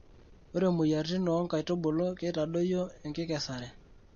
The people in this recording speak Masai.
Ore moyiaritin oo nkaitubulu keitadoyio enkikesare.